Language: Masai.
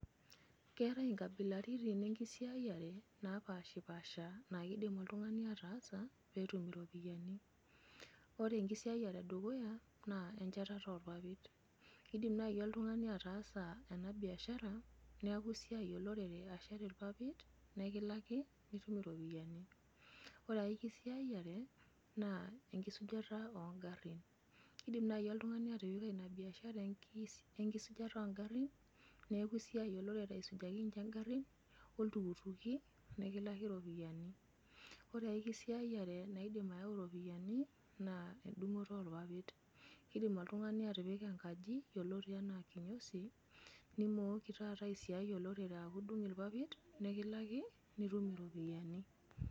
keetae nkabilarit enkisayiare, naa kidim oltungani ataasa pee etum iropiyiani, ore enkisaiyiare edukuya naa enchatata oorpapit, kidim naaji oltungani attaasa ena biasara, neeku isiai olorere ashet irpapit naa ekilaki nitum iropiyiani. ore ae kisiayiare naa enkisujata oo ngarin. kidim naaji oltungani atipika ina biashara enkisujata oo ngarin neeku esiai, olorere aisujaki nince ngarin. oltukutuki. nikilaki iropiyiani. ore ae kisiayiare naiidim ayau iropiyiani, naa edungoto oorpapait. kidim oltungani atipika enkaji yioloti anaa, kinyosi, nimooki taata asiai olorere a dung irpapit nikilaki. nitum iropiyiani.